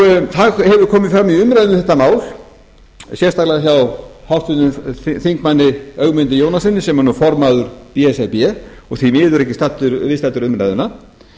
það hefur komið fram í umræðum um þetta mál sérstaklega hjá háttvirtum þingmanni ögmundi jónassyni sem er nú formaður b s r b og því miður ekki viðstaddur umræðuna